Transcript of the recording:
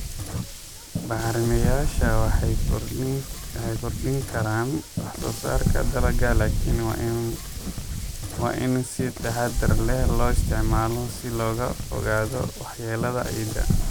Bacrimiyeyaasha waxay kordhin karaan wax soo saarka dalagga laakiin waa in si taxadar leh loo isticmaalo si looga fogaado waxyeellada ciidda.